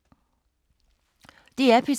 DR P3